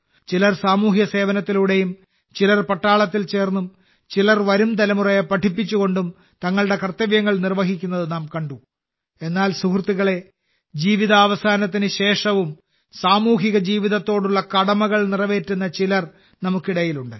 ചിലർ സാമൂഹ്യസേവനത്തിലൂടെയും ചിലർ പട്ടാളത്തിൽ ചേർന്നും ചിലർ വരും തലമുറയെ പഠിപ്പിച്ചുകൊണ്ടും തങ്ങളുടെ കർത്തവ്യങ്ങൾ നിർവഹിക്കുന്നത് നാം കണ്ടു എന്നാൽ സുഹൃത്തുക്കളേ ജീവിതാവസാനത്തിനു ശേഷവും സാമൂഹിക ജീവിതത്തോടുള്ള കടമകൾ നിറവേറ്റുന്ന ചിലർ നമുക്കിടയിലുണ്ട്